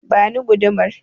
Ba ni gudumar!